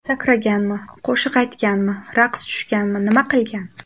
Sakraganmi, qo‘shiq aytganmi, raqs tushganmi nima qilgan?